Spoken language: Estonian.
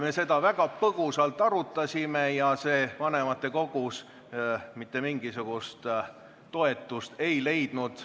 Me seda väga põgusalt arutasime ja see vanematekogus mitte mingisugust toetust ei leidnud.